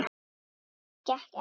En það gekk ekkert.